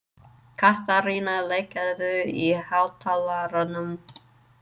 Katharina, lækkaðu í hátalaranum.